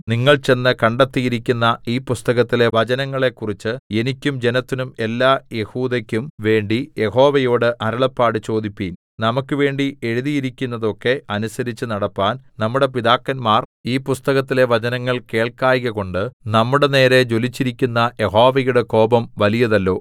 നിങ്ങൾ ചെന്ന് കണ്ടെത്തിയിരിക്കുന്ന ഈ പുസ്തകത്തിലെ വചനങ്ങളെക്കുറിച്ച് എനിക്കും ജനത്തിനും എല്ലാ യെഹൂദെക്കും വേണ്ടി യഹോവയോട് അരുളപ്പാട് ചോദിപ്പിൻ നമുക്ക് വേണ്ടി എഴുതിയിരിക്കുന്നതൊക്കെ അനുസരിച്ച് നടപ്പാൻ നമ്മുടെ പിതാക്കന്മാർ ഈ പുസ്തകത്തിലെ വചനങ്ങൾ കേൾക്കായ്കകൊണ്ട് നമ്മുടെനേരെ ജ്വലിച്ചിരിക്കുന്ന യഹോവയുടെ കോപം വലിയതല്ലോ എന്ന് കല്പിച്ചു